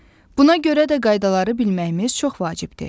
Buna görə də qaydaları bilməyimiz çox vacibdir.